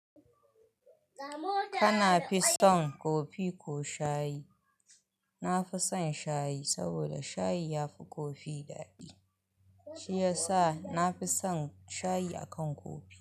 Kanafi son kofi ko shayi? Na fison shayi saboda shayi yafi kofi daɗi, shiyasa na fi son shayi akan kofi.